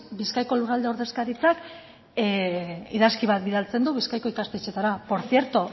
bizkaiko lurralde ordezkaritzak idazki bat bidaltzen du bizkaiko ikastetxeetara por cierto